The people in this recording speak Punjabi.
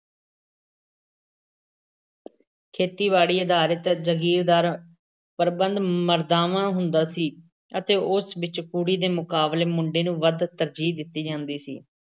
ਖੇਤੀ-ਬਾੜੀ ਆਧਾਰਿਤ ਜਗੀਰਦਾਰੀ ਪ੍ਰਬੰਧ ਮਰਦਾਵਾਂ ਹੁੰਦਾ ਸੀ ਅਤੇ ਉਸ ਵਿੱਚ ਕੁੜੀ ਦੇ ਮੁਕਾਬਲੇ ਮੁੰਡੇ ਨੂੰ ਵੱਧ ਤਰਜੀਹ ਦਿੱਤੀ ਜਾਂਦੀ ਸੀ